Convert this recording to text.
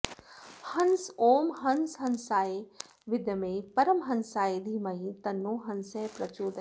हंस ॐ हंस हंसाय विद्महे परमहंसाय धीमहि तन्नो हंसः प्रचोदयात्